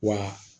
Wa